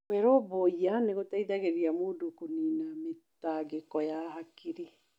Kwĩrũmbũiya nĩ gũteithagia mũndũ kũniina mĩtangĩko ya hakirĩ